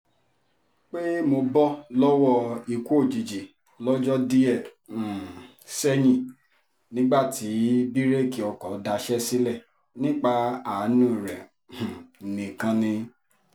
pé mo bọ́ lọ́wọ́ ikú òjijì lọ́jọ́ díẹ̀ um sẹ́yìn nígbà tí bíréèkì ọkọ̀ daṣẹ́ sílẹ̀ nípa àánú rẹ̀ um nìkan ni